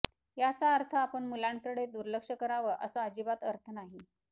याचा अर्थ आपण मुलांकडे दुर्लक्ष करावं असा अजिबात अर्थ नाही